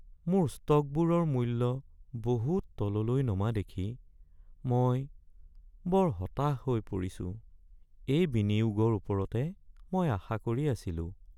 মোৰ ষ্টকবোৰৰ মূল্য বহুত তললৈ নমা দেখি মই বৰ হতাশ হৈ পৰিছোঁ। এই বিনিয়োগৰ ওপৰতে মই আশা কৰি আছিলোঁ।